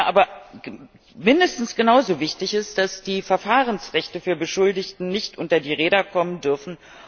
Aber mindestens genauso wichtig ist, dass die Verfahrensrechte für Beschuldigte nicht unter die Räder kommen dürfen.